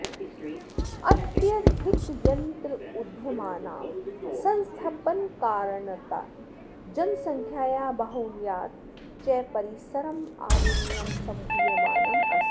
अत्यधिकयन्त्रोद्यमानां संस्थपनकारणात् जनसङ्ख्यायाः बाहुल्यात् च परिसरमालिन्यं सम्भूयमानम् अस्ति